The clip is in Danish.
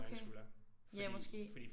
Okay. Ja måske